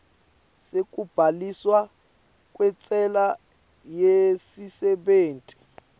sekubhaliswa kwentsela yesisebenti